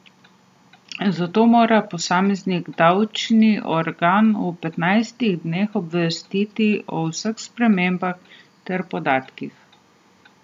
Zato mora posameznik davčni organ v petnajstih dneh obvestiti o vseh spremembah teh podatkov.